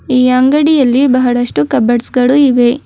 ಈ ಅಂಗಡಿಯಲ್ಲಿ ಬಹಳಷ್ಟು ಕಬೋರ್ಡ್ಸ ಗಳು ಇವೆ.